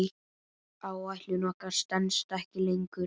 Áætlun okkar stenst ekki lengur.